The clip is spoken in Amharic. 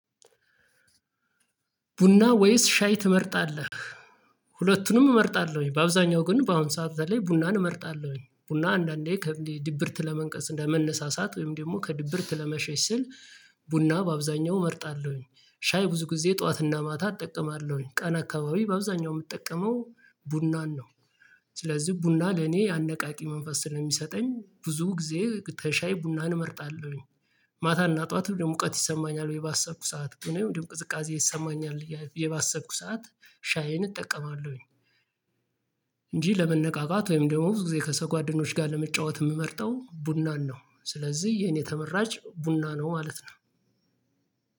ቡና ወይስ ሻይ ትመርጣለህ? ሁለቱንም እመርጣለሁኝ በአብዛኛው ግን በአሁን ሰዓታት ላይ ቡናን እመርጣለሁ። ቡና አንዳንዴ ድብርት ለመንቀስ ለመነሳሳት ወይም ደግሞ ከድብርት ለመሸሽ ስል። ቡና በአብዛኛው እመርጣለሁኝ ሻይ ብዙ ጊዜ ጠዋትና ማታ እጠቀማለሁኝ ቀን አካባቢ በአብዛኛው የምጠቀመው ቡናን ነው። ስለዚህ ቡና ለኔ አነቃቂ መንፈስ ስለሚሰጠኝ ብዙ ጊዜ ተሻይ ቡናን እመርጣለሁኝ። ማታ እና ጠዋት ደግሞ ሙቀት ይሰማኛል ወይ ባሰብኩ ሰዓት ወይ ወይ ቅዝቃዜ ይሰማኛል ቡዬ ባሰብኩ ሰዓት ሻዬን እጠቀማለሁኝ። እንጂ ለመነቃቃት ወይም ደግሞ ብዙ ጊዜ ከሰጓደኖች ጋር ለመጫወት የምመርጠው ቡናን ነው ስለዚህ የኔ ተመራጭ ቡና ነው ማለት ነው።